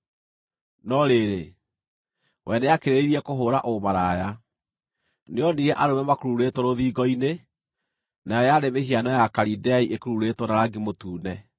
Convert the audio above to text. “No rĩrĩ, we nĩakĩrĩrĩirie kũhũũra ũmaraya. Nĩoonire arũme makururĩtwo rũthingo-inĩ, nayo yarĩ mĩhiano ya Akalidei ĩkururĩtwo na rangi mũtune,